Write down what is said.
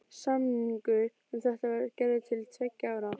Samningur um þetta var gerður til tveggja ára.